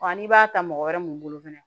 n'i b'a ta mɔgɔ wɛrɛ mun bolo fɛnɛ